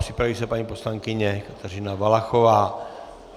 Připraví se paní poslankyně Kateřina Valachová.